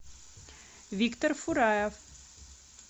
виктор фураев